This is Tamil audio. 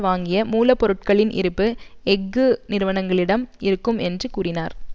வாங்கிய மூல பொருட்களின் இருப்பு எஃகு நிறுவனங்களிடம் இருக்கும் என்றும் கூறினார்